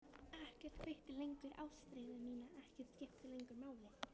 Ekkert kveikti lengur ástríðu mína, ekkert skipti lengur máli.